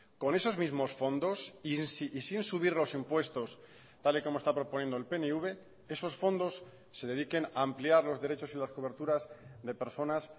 con esos mismos fondos y sin subir los impuestos tal y como está proponiendo el pnv esos fondos se dediquen a ampliar los derechos y las coberturas de personas